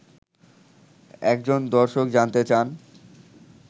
একজন দর্শক জানতে চান